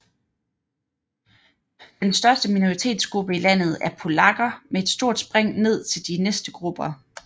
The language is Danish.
Den største minoritetsgruppe i landet er polakker med et stort spring ned til de næste grupper